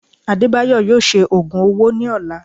Adebayo yóò ṣe ogùn ọwọ ní ọlà